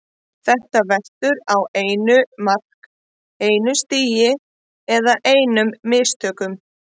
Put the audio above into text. Þetta veltur á einu mark, einu stigi eða einum mistökum.